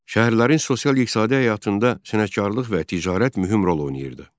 Şəhərlərin sosial-iqtisadi həyatında sənətkarlıq və ticarət mühüm rol oynayırdı.